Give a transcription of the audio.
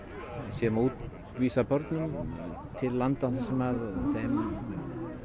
sé vísað börnum til landa þar sem þeim